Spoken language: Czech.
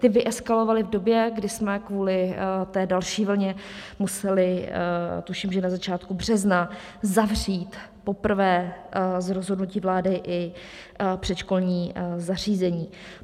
Ty vyeskalovaly v době, kdy jsme kvůli té další vlně museli, tuším, že na začátku března, zavřít poprvé z rozhodnutí vlády i předškolní zařízení.